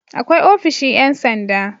Akwai ofishin Yan sanda